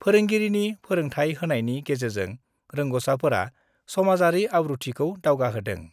फोरोंगिरिनि फोरोंथाय होनायनि गेजेरजों रोंग'साफोरा समाजारि आब्रुथिखौ दावगाहोदों।